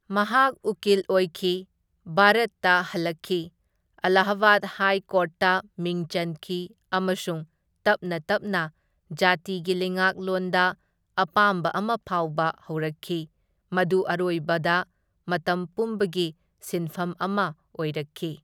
ꯃꯍꯥꯛ ꯎꯀꯤꯜ ꯑꯣꯏꯈꯤ, ꯚꯥꯔꯠꯇ ꯍꯜꯂꯛꯈꯤ, ꯑꯂꯥꯍꯕꯥꯗ ꯍꯥꯏ ꯀꯣꯔꯠꯇ ꯃꯤꯡ ꯆꯟꯈꯤ ꯑꯃꯁꯨꯡ ꯇꯞꯅ ꯇꯞꯅ ꯖꯥꯇꯤꯒꯤ ꯂꯩꯉꯥꯛꯂꯣꯟꯗ ꯑꯄꯥꯝꯕ ꯑꯃ ꯐꯥꯎꯕ ꯍꯧꯔꯛꯈꯤ, ꯃꯗꯨ ꯑꯔꯣꯏꯕꯗ ꯃꯇꯝ ꯄꯨꯝꯕꯒꯤ ꯁꯤꯟꯐꯝ ꯑꯃ ꯑꯣꯏꯔꯛꯈꯤ꯫